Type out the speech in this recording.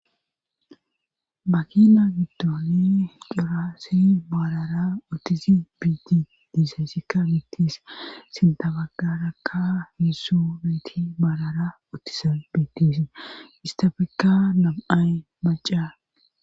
makina giddooni daro assi marara utidi betes sintabagarakka hissubeeti baalara ottisa biitisi istafikka nam7ay maca